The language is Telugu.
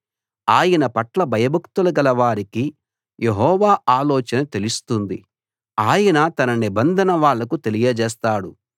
ఆయనపట్ల భయభక్తులు గల వారికి యెహోవా ఆలోచన తెలుస్తుంది ఆయన తన నిబంధన వాళ్లకు తెలియజేస్తాడు